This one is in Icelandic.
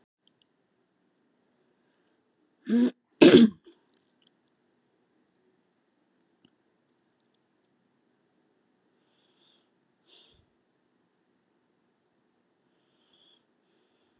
Á leið til Kína